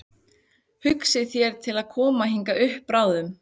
Hugsið þér til að koma hingað upp bráðum?